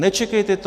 Nečekejte to!